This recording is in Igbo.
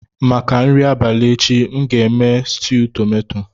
Maka nri abalị echi, m ga-eme stuu tomato.